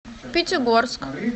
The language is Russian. пятигорск